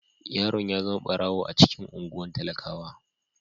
Yaron ya zama barawo a cikin anguwan talakawa.